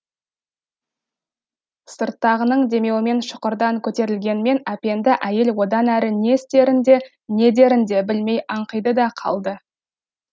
сырттағының демеуімен шұқырдан көтерілгенмен әпенді әйел одан әрі не істерін де не дерін де білмей аңқиды да қалды